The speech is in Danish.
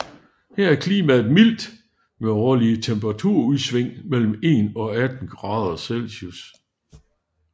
Her er klimaet mildt med årlige temperaturudsving mellem 1 og 18 grader C